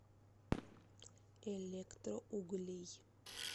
электроуглей